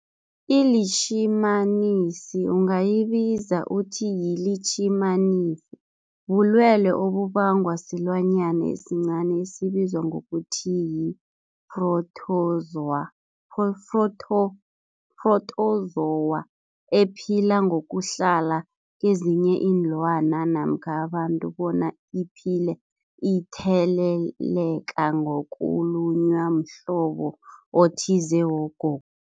ILitjhimanisi ungayibiza uthiyilitjhimanisi, bulwelwe obubangwa silwanyana esincani esibizwa ngokuthiyi-Phrotozowa ephila ngokuhlala kezinye iinlwana namkha abantu bona iphile itheleleka ngokulunywa mhlobo othize wogo.